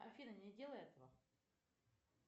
афина не делай этого